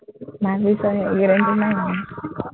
ভাৱিছহে, নাই